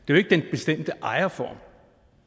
jo ikke den bestemte ejerform